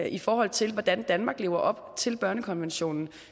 i forhold til hvordan danmark lever op til børnekonventionen